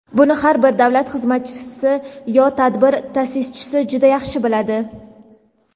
Buni har bir davlat xizmatchisi yo tadbir ta’sischisi juda yaxshi biladi.